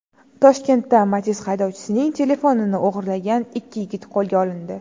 Toshkentda Matiz haydovchisining telefonini o‘g‘irlagan ikki yigit qo‘lga olindi.